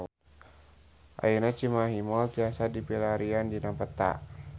Ayeuna Cimahi Mall tiasa dipilarian dina peta